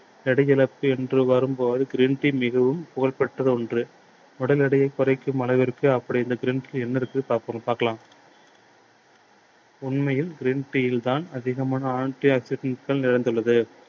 எடை இழப்பு என்று வரும் போது geen tea மிகவும் புகழ் பெற்ற ஒன்று. உடல் எடையை குறைக்கும் அளவிற்கு அப்படி இந்த green tea ல என்ன இருக்கு பார்ப்போம் பார்க்கலாம். உண்மையில் green tea யில் தான் அதிகமான anti oxidant டுகள் நிறைந்துள்ளது.